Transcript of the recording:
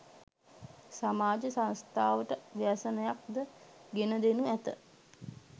සමාජ සංස්ථාවට ව්‍යසනයක්ද ගෙන දෙනු ඇත.